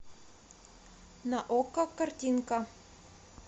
на окко картинка